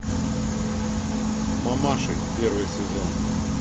мамаши первый сезон